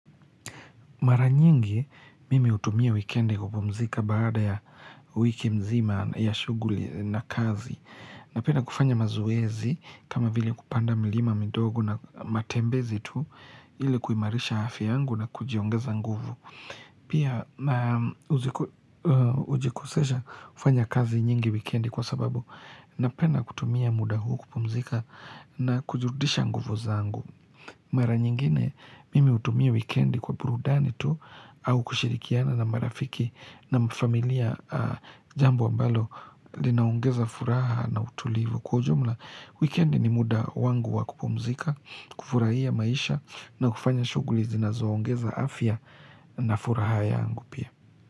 Mara nyingi mimi utumia wikendi kupumzika baada ya wiki mzima ya shughuli na kazi. Napenda kufanya mazoezi kama vile kupanda milima midogo na matembezi tu ili kuimarisha hafya yangu na kujiongeza nguvu. Pia na ujikosesha kufanya kazi nyingi wikendi kwa sababu napenda kutumia muda huu kupumzika na kujirudisha nguvu zangu. Mara nyingine mimi utumia wikendi kwa burudani tu au kushirikiana na marafiki naam familia jambo ambalo linaongeza furaha na utulivu. Kwa ujumla wikendi ni muda wangu wa kupumzika, kufurahia maisha na kufanya shughuli zinazoongeza afya na furaha yangu pia.